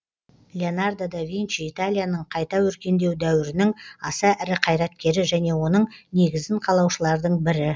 леонардо да винчи италияның қайта өркендеу дәуірінің аса ірі қайраткері және оның негізін қалаушылардың бірі